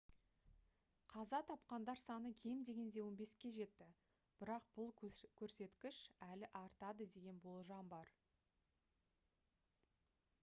қаза тапқандар саны кем дегенде 15-ке жетті бірақ бұл көрсеткіш әлі артады деген болжам бар